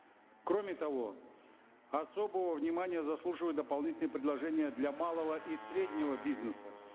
кроме того особого внимания заслуживают дополнительные предложения для малого и среднего бизнеса